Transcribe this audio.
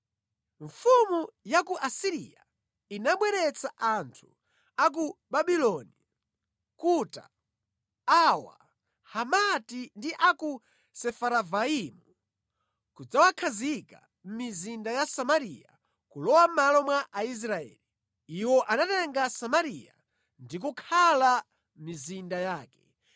Mfumu ya ku Asiriya inabweretsa anthu a ku Babuloni, Kuta, Awa, Hamati ndi a ku Sefaravaimu kudzawakhazika mʼmizinda ya Samariya kulowa mʼmalo mwa Aisraeli. Iwo anatenga Samariya ndi kukhala mʼmizinda yake.